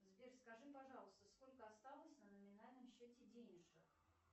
сбер скажи пожалуйста сколько осталось на номинальном счете денежек